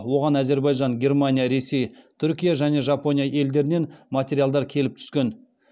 оған әзербайжан германия ресей түркия және жапония елдерінен материалдар келіп түскен